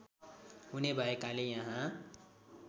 हुने भएकाले यहाँ